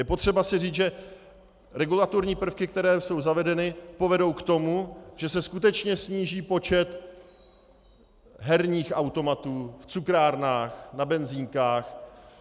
Je potřeba si říct, že regulatorní prvky, které jsou zavedeny, povedou k tomu, že se skutečně sníží počet herních automatů v cukrárnách, na benzinkách.